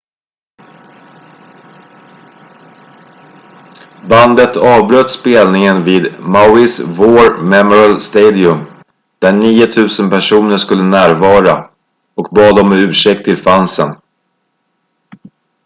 bandet avbröt spelningen vid mauis war memorial stadium där 9 000 personer skulle närvara och bad om ursäkt till fansen